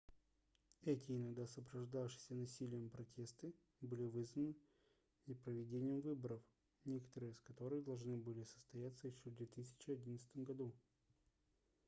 эти иногда сопровождавшиеся насилием протесты были вызваны непроведением выборов некоторые из которых должны были состояться ещё в 2011 году